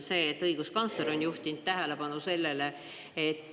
Sellele on õiguskantsler juhtinud tähelepanu.